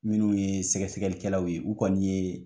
Minnu ye sɛgɛsɛgɛlikɛlaw ye, u kɔni ye